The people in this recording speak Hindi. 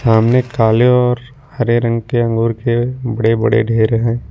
सामने काले और हरे रंग के अंगूर के बड़े बड़े ढेर हैं।